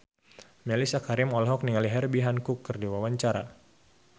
Mellisa Karim olohok ningali Herbie Hancock keur diwawancara